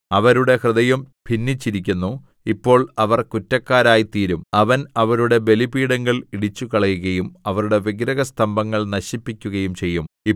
അവരുടെ ഹൃദയം ഭിന്നിച്ചിരിക്കുന്നു ഇപ്പോൾ അവർ കുറ്റക്കാരായിത്തീരും അവൻ അവരുടെ ബലിപീഠങ്ങൾ ഇടിച്ചുകളയുകയും അവരുടെ വിഗ്രഹസ്തംഭങ്ങൾ നശിപ്പിക്കുകയും ചെയ്യും